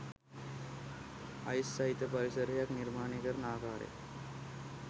ice සහිත පරිසරයක් නිර්මාණය කරන ආකාරය